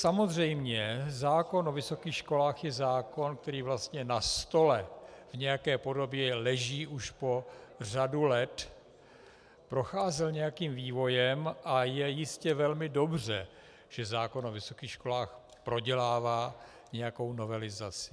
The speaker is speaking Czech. Samozřejmě, zákon o vysokých školách je zákon, který vlastně na stole v nějaké podobě leží už po řadu let, procházel nějakým vývojem a je jistě velmi dobře, že zákon o vysokých školách prodělává nějakou novelizaci.